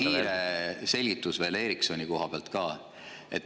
Üks hästi kiire selgitus veel Ericssoni koha pealt ka.